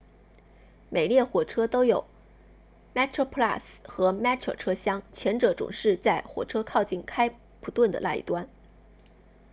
每列火车都有 metroplus 和 metro 车厢前者总是在火车靠近开普敦的那一端